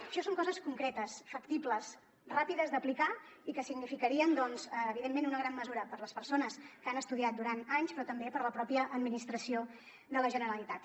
això són coses concretes factibles ràpides d’aplicar i que significarien evidentment una gran mesura per a les persones que han estudiat durant anys però també per a la pròpia administració de la generalitat